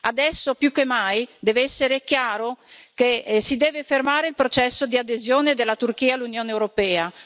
Adesso più che mai deve essere chiaro che si deve fermare il processo di adesione della Turchia all'Unione europea.